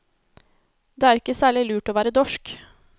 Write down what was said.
Det er ikke særlig lurt å være dorsk.